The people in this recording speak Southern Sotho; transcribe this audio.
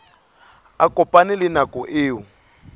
a kopane le nako eo